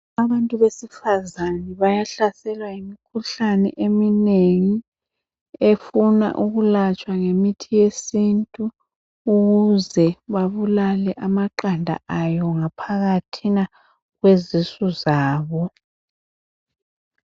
Abantu besifazana bayahlaselwa yimikhuhlane eminengi efuna ukulatshwa ngemithi yesintu ukuze babulale amaqanda ayo ngaphathina kwezisu zabo.